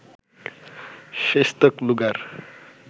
শেষতক luger